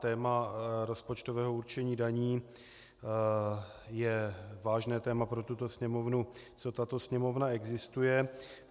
Téma rozpočtového určení daní je vážné téma pro tuto Sněmovnu, co tato Sněmovna existuje.